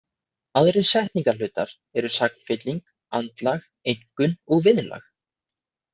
Aðrir setningarhlutar eru sagnfylling, andlag, einkunn og viðlag.